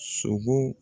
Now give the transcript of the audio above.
Sogo